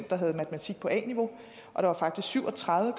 der havde matematik på a niveau og der var faktisk syv og tredive